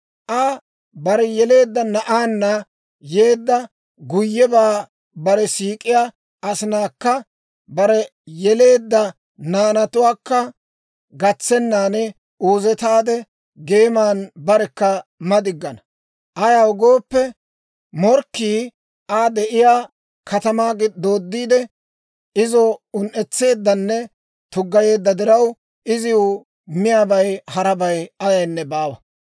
Aa bare yeleedda na'aanna yeedda guyyebaa bare siik'iyaa asinaakka bare yeleedda naanatuwaakka gatsennan, uuzetaade geeman barekka madiggana. Ayaw gooppe, morkkii Aa de'iyaa katamaa dooddiide izo un"etseeddanne tuggayeedda diraw, iziw miyaabay harabay ayaynne baawa.